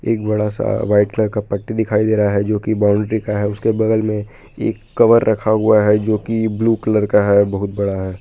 एक बड़ा सा वाइट कलर का पट्टी दिखाई दे रहा है जो कि बाउंड्री का है उसके बगल में एक कवर रखा हुआ है जो कि ब्लू कलर का है बहुत बड़ा है।